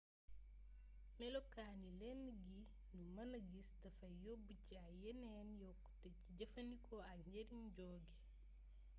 melokaani lënd gi nu mëna gis dafay yóbb ci ay yeneen yokkute ci jëfandikoo ak njëriñ joge